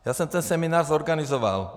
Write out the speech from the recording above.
Já jsem ten seminář zorganizoval.